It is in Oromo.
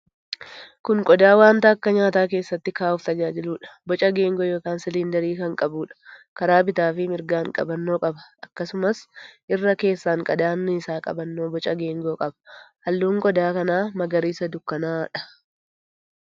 Kun qodaa wanta akka nyaataa keessatti kaa'uuf tajaajiluudha. Boca geengoo yookiin 'siliindarii' kan qabuudha. Karaa bitaafi mirgaan qabannoo qaba. Akkasumas irra keessaan qadaadni isaa qabannoo boca geengoo qaba. Halluun qodaa kanaa magariisa dukkana'aadha.